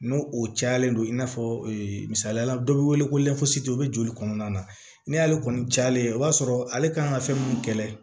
N'o o cayalen don i n'a fɔ ee misaliya la dɔ bɛ wele ko o bɛ joli kɔnɔna na ni ale kɔni cayalen ye i b'a sɔrɔ ale kan ka fɛn mun kɛlɛ